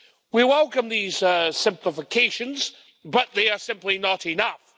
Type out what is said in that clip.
We welcome these simplifications, but they are simply not enough.